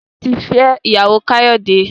Taye tí fí ìyàwó Kayode.